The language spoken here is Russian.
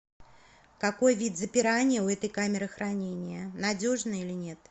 какой вид запирания у этой камеры хранения надежный или нет